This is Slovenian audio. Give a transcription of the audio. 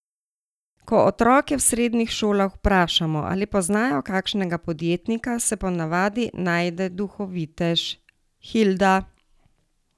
Ko otroke v srednjih šolah vprašamo, ali poznajo kakšnega podjetnika, se po navadi najde duhovitež: 'Hilda!